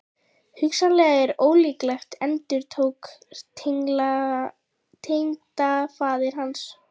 Hugsanlegt en ólíklegt endurtók tengdafaðir hans.